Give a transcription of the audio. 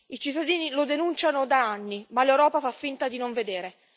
I cittadini lo denunciano da anni, ma l'Europa fa finta di non vedere.